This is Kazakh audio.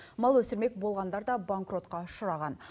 мал өсірмек болғандар да банкротқа ұшыраған